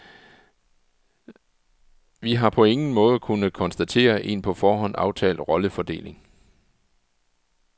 Vi har på ingen måde kunnet konstatere en på forhånd aftalt rollefordeling.